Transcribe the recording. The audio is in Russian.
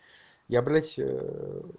я блять